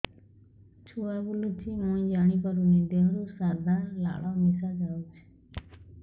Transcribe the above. ଛୁଆ ବୁଲୁଚି ମୁଇ ଜାଣିପାରୁନି ଦେହରୁ ସାଧା ଲାଳ ମିଶା ଯାଉଚି